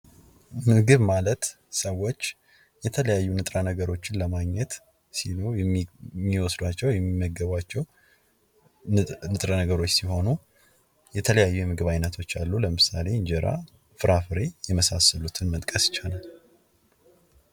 ምግብ ማለት ሰዎች የተለያዩ ንጥረ ነገሮችን ለማግኘት ሲሉ የሚወስዳቸው የሚመገቧቸው ንጥረ ነገሮች ሲሆኑ የተለያዩ የምግብ ዓይነቶች አሉ። ለምሳሌ፦ እንጀራ ፍራፍሬ የመሳሰሉትን መጥቀስ ይቻላል።